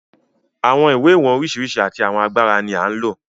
Àwọn ìwọ̀n ìwé oríṣiríṣi àti àwọn agbára ni à ń lò.